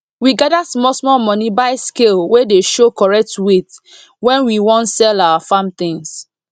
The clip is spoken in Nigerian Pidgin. we gather small small money buy scale wey dey show correct weight when we wan sell our farm things